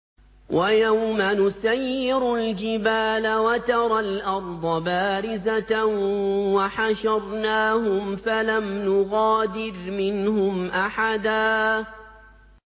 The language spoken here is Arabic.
وَيَوْمَ نُسَيِّرُ الْجِبَالَ وَتَرَى الْأَرْضَ بَارِزَةً وَحَشَرْنَاهُمْ فَلَمْ نُغَادِرْ مِنْهُمْ أَحَدًا